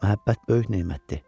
Məhəbbət böyük nemətdir.